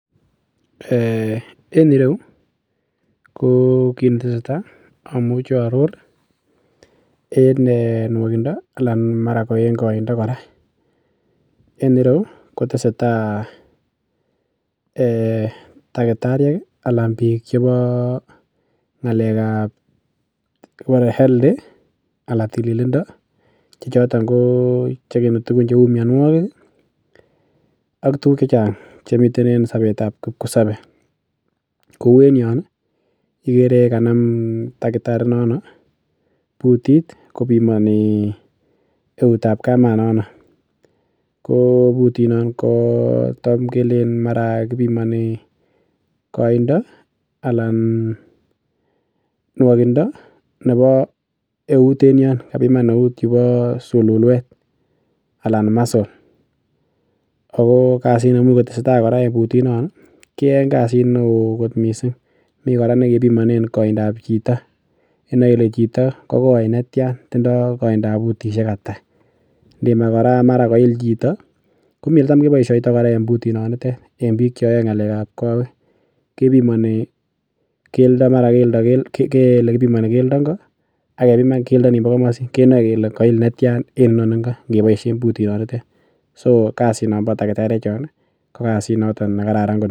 um en ireu ko kit netesetai amuche aaror en nwokindo anan ko en koindo kora en ireu kotesetai um takitariek ih anan biik chebo ng'alek ab kibore health anan tililindo che choton kochegeni tugun cheu mionwogik ih ak tuguk chechang chemiten en sobetab kipkosobe. Kou en yon ih ikere kanam takitari inono putit kopimoni eutab kamanono ko putit non ko tam kelenen mara kibimoni koindo alan nwokindo nebo eut en yon, kabiman eut yubo sululwet anan muscle ako kasit niemuch kotesetai kora putit non ih kiyoen kasit neoo kot missing. Mi kora nekibimonen koindab chito inoe ile chito kokoi netyan tindoo koindab putisiek ata. Ndimach kora mara koil chito komii eletam keboisioto kora en putit notet en biik chetam koyoe ng'alek ab kowek kebimoni keldo ngo ak kebiman keldo nimbo komosin kenoe kele koil netyan en inoni ngo keboisien putit notet so kasit nombo takitariek chon ko kasit noton ne kararaan kot